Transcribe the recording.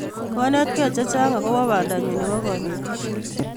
Kanetkei chechang kobun bandanyu nebo kanetisyet.